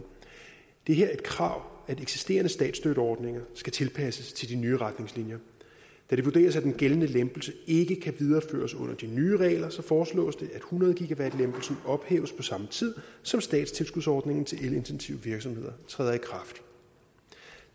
det er her et krav at eksisterende statsstøtteordninger skal tilpasses de nye retningslinjer da det vurderes at den gældende lempelse ikke kan videreføres under de nye regler så foreslås det at hundrede gwh lempelsen ophæves på samme tid som statstilskudsordningen til elintensive virksomheder træder i kraft